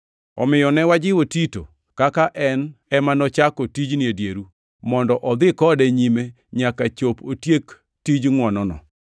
Omiyo ne wajiwo Tito, kaka en ema nochako tijni e dieru, mondo odhi kode nyime nyaka chop otiek tij ngʼwonono.